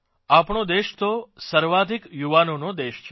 આપણો દેશ તો સર્વાધિક યુવાનોનો દેશ છે